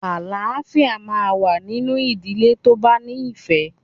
Àlááfíà máa n wá nínú ìdílé tó bá ní ìfẹ̀